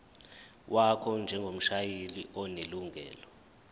wakho njengomshayeli onelungelo